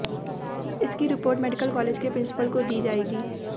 इसकी report medical college के principal को दी जाएगी